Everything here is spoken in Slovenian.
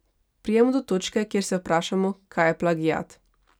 Pridemo do točke, kjer se vprašamo, kaj je plagiat.